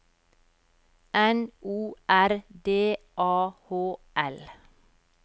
N O R D A H L